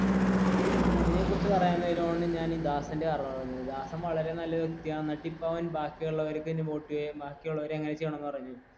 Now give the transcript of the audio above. ഇതിനെ കുറിച്ച് പറയാൻ നേരമാണ് ഞാൻ ഈ ദാസന്റെ കഥ പറഞ്ഞത് ദാസൻ വളരെ നല്ലൊരു വ്യക്തിയാണ്